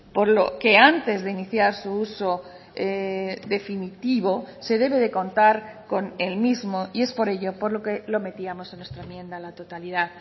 por lo que antes de iniciar su uso definitivo se debe de contar con el mismo y es por ello por lo que lo metíamos en nuestra enmienda a la totalidad